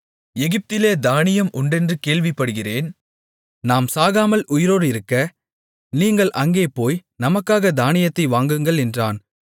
எகிப்திலே தானியம் உண்டென்று கேள்விப்படுகிறேன் நாம் சாகாமல் உயிரோடிருக்க நீங்கள் அங்கே போய் நமக்காகத் தானியத்தை வாங்குங்கள் என்றான்